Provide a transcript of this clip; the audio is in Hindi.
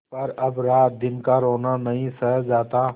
पर अब रातदिन का रोना नहीं सहा जाता